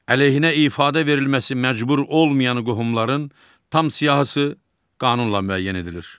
Əleyhinə ifadə verilməsi məcbur olmayan qohumların tam siyahısı qanunla müəyyən edilir.